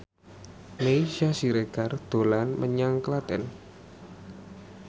Meisya Siregar dolan menyang Klaten